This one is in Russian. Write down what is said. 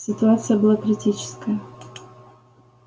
ситуация была критическая